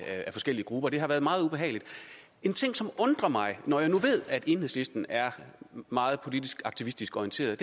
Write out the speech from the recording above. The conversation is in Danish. forskellige grupper og det har været meget ubehageligt en ting som undrer mig når alle ved at enhedslisten er meget politisk aktivistisk orienteret er